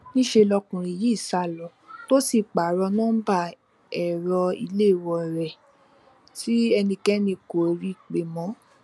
níṣẹ lọkùnrin yìí sá lọ tó sì pààrọ nọńbà ẹrọ ìléwọ rẹ tí ẹnikẹni kò rí i pé mọ